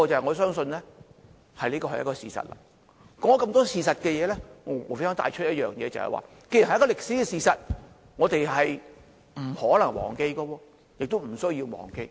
我說出了眾多事實，無非想帶出一點，就是這既然是一個歷史事實，我們不可能忘記亦不需要忘記。